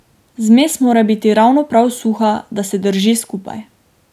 Zmes mora biti ravno prav suha, da se drži skupaj.